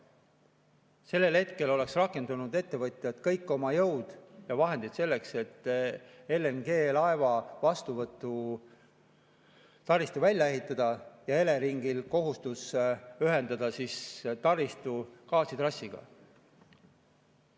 Sellel hetkel oleks rakendanud ettevõtjad kõik oma jõud ja vahendid selleks, et LNG-laeva vastuvõtu taristu välja ehitada, ja Eleringil oleks olnud kohustus ühendada taristu gaasitrassiga.